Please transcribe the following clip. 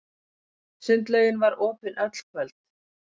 Sundlaugin var opin öll kvöld.